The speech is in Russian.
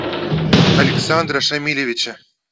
александра шамилевича